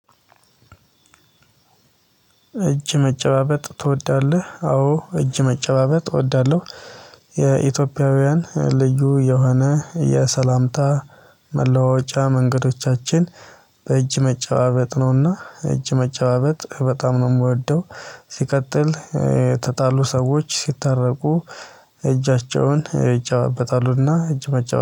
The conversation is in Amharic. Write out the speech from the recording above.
እጅ መጨባበጥ ትወዳለህ? አዎ እጅ መጨባበጥ እወዳለሁ። የኢትዮጵያውያን ልዩ የሆነ የሰላምታ መለዋወጫ መንገዶቻችን በእጅ መጨባበጥ ነውና እጅ መጨባበጥ በጣም ነው የምወደው። ሲቀጥል የተጣሉ ሰዎች ሲታረቁ እጃቸውን ይጨባበጣሉና እጅ መጨባበጥ